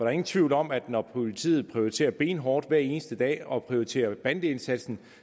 er ingen tvivl om at når politiet prioriterer benhårdt hver eneste dag og prioriterer bandeindsatsen